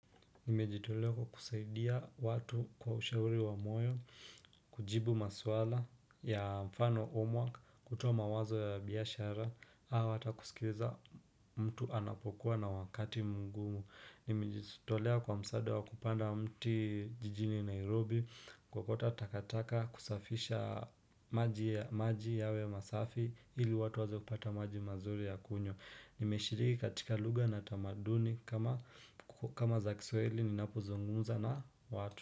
Nimejitolea kwa kusaidia watu kwa ushauri wa moyo, kujibu maswala ya mfano homework, kutoa mawazo ya biashara, ama hata kusikiza mtu anapokuwa na wakati mgumu. Nimejitolea kwa msaada wa kupanda mti jijini Nairobi kuokota takataka kusafisha maji yawe safi ili watu waweze kupata maji mazuri ya kunywa. Nimeshiriki katika lugha na tamaduni kama za kiswahili ninapuzungumza na watu.